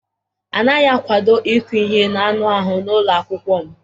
A naghị akwado ịkụ ihe n'anụ ahụ n'ụlọ akwụkwọ m.